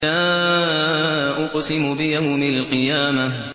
لَا أُقْسِمُ بِيَوْمِ الْقِيَامَةِ